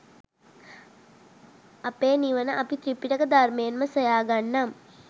අපෙ නිවන අපි ත්‍රිපිටක ධර්මයෙන්ම සොයා ගන්නම්.